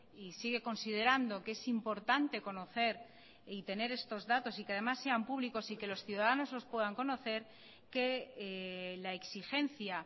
y sigue considerando que es importante conocer y tener estos datos y que además sean públicos y que los ciudadanos los puedan conocer que la exigencia